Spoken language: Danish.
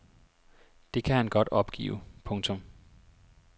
Det kan han godt opgive. punktum